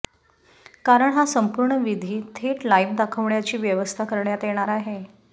कारण हा संपूर्ण विधी थेट लाइव्ह दाखवण्याची व्यवस्था करण्यात येणार आहे